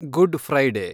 good Friday